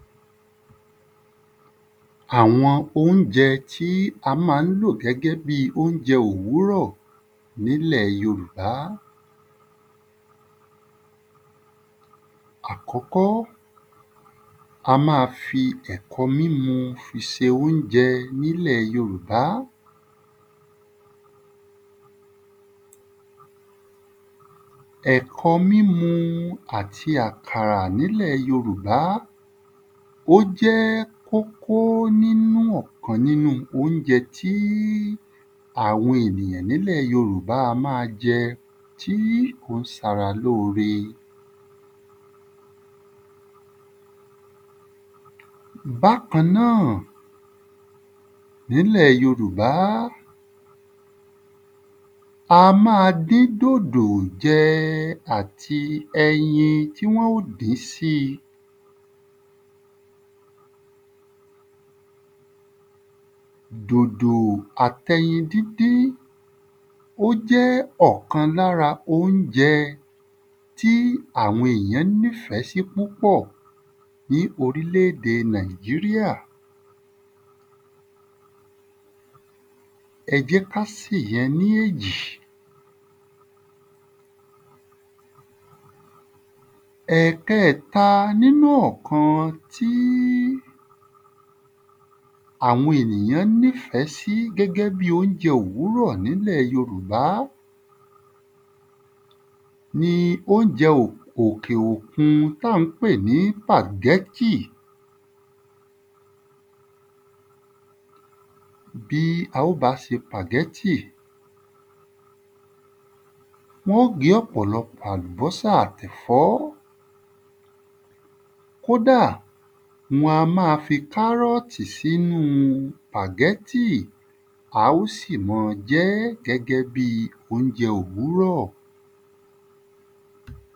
Àwọn óunjẹ tí a má ń lò gẹ́gẹ́ bi óunjẹ òwúrọ̀ n’ílẹ̀ yorùbá. Àkọ́kọ́, a má a fi ẹ̀kọ mímu fi se óunjẹ n’ílẹ̀ yorùbá. Ẹ̀kọ mímu àti àkàrà n’ílẹ̀ yorùbá ó jẹ́ kókó nínú ọ̀kan óunjẹ tí àwọn ènìyàn n’ílẹ̀ yorùbá a ma jẹ tí ó ń s’ara lóore. Bákan náà, n’ílẹ̀ yorùbá a má a dín dòdò jẹ àti ẹyin tí wọ́n ó dín sí. Dòdò jẹ àt’ẹyin dídín ó jẹ́ ọ̀kan l’ára óunjẹ tí àwọn èyàn ní fẹ́ sí púpọ̀ ní orílédé Nàìjíríà. Ẹ jẹ́ k’á se yẹn ní èjì. Ẹ̀kẹta n'ínú ọ̀kan tí àwọn ènìyàn ní fẹ́ sí gẹ́gẹ́ bi óunjẹ òwúrọ̀ n’ílẹ̀ yorùbá ní óunjẹ òkè òkun t’á à ń pè ní ‘pàgẹ́tì. Bí a ó bá se ‘pàgẹ́tì, wọ́n ó gé ọ̀pọ̀lọpọ̀ àlùbọ́sà àti ẹ̀fọ. Kódà, wọ́n a má fi kárọ̀tì s’ínu ‘pàgẹ́tì. A ó sì ma jẹ́ gẹ́gẹ́ bi óunjẹ òwúrọ̀.